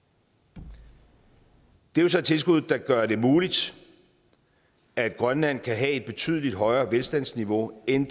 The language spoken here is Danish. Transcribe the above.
det er så et tilskud der gør det muligt at grønland kan have et betydelig højere velstandsniveau end